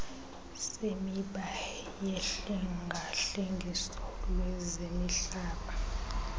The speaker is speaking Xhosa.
semiba yohlengahlengiso lwezemihlaba